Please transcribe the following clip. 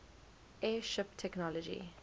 airship technology